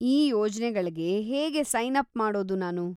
ಈ ಯೋಜ್ನೆಗಳ್ಗೆ ಹೇಗೆ ಸೈನ್ ಅಪ್ ಮಾಡೋದು ನಾನು?